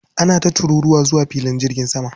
Ana ta tururuwa zuwa filin jirgin sama.